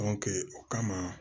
o kama